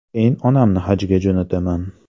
Keyin onamni hajga jo‘nataman.